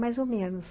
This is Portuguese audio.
Mais ou menos.